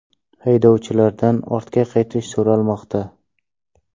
Haydovchilardan ortga qaytish so‘ralmoqda.